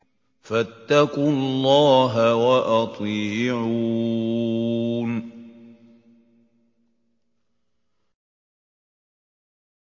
فَاتَّقُوا اللَّهَ وَأَطِيعُونِ